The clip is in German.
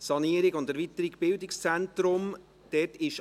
«Sanierung und Erweiterung Bildungszentrum [